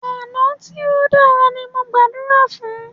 Àná tí o dára ní mó máà ń gbàdúrà fún.